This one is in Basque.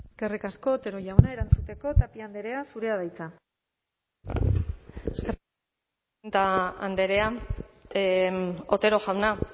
eskerrik asko otero jauna erantzuteko tapia andrea zurea da hitza andrea otero jauna